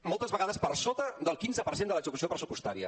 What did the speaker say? moltes vegades per sota del quinze per cent de l’execució pressupostària